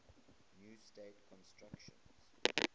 new state constitution